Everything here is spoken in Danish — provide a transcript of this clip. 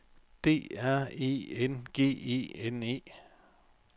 D R E N G E N E